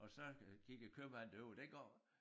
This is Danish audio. Og så gik æ købmand det var jo dengang